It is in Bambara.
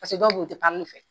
dɔw beyi u tɛ fɛ.